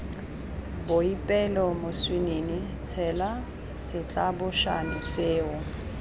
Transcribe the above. boipelo moswinini tshela setlabošane seo